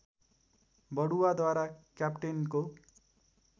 बढुवाद्वारा क्याप्टेनको